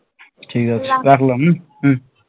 ঠিক আছে রাখলাম